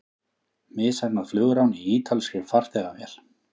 Misheppnað flugrán í ítalskri farþegavél